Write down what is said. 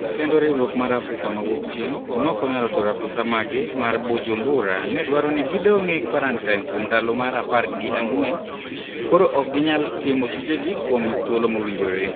Kendo riwruok m Africa ma wuokchieng' nokonyalo tero apisa maggi mar Bujumbura nedwaro ni gi dong' e kwarantin kuom ndalo apar gi ang'wen, koro ok ginyal timo tije gi kuom thuolo mowinjore